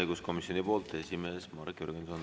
Õiguskomisjoni poolt esimees Marek Jürgenson.